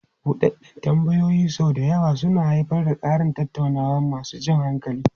Buɗeɗden tambayoyin sau da yawa suna haifar da ƙarin tattaunawa masu jan hankali.